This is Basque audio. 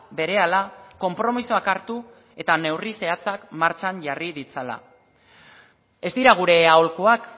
berehala konpromisoak hartu eta neurri zehatzak martxan jarri ditzala ez dira gure aholkuak